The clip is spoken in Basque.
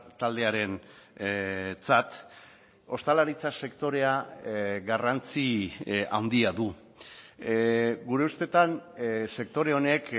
taldearentzat ostalaritza sektorea garrantzi handia du gure ustetan sektore honek